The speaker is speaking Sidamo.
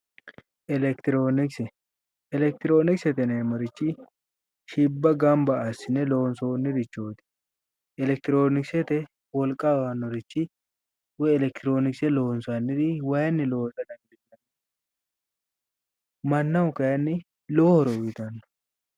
Elekitirionkise, elekitirionkise yinneemmorichi shibba gamba assine loonsonirichoti ,elekitirionkisete wolqa aanorichi woyi elemitirionkise waayinni loonsanni mannaho kayinni lowo horo uyittani